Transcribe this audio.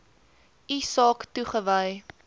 u saak toegewys